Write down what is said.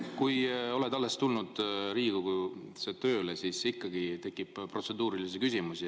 No kui oled alles tulnud Riigikogusse tööle, siis ikka tekib protseduurilisi küsimusi.